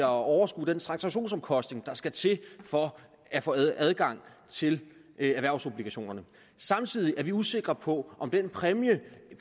overskue den transaktionsomkostning der skal til for at få adgang til erhvervsobligationerne samtidig er vi usikre på om den præmie